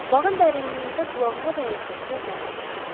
Bağın dərinliyində qulağıma dəyən səslər məni tiksindirdi.